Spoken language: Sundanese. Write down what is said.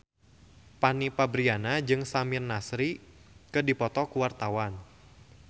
Fanny Fabriana jeung Samir Nasri keur dipoto ku wartawan